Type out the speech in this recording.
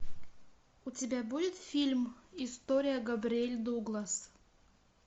у тебя будет фильм история габриэль дуглас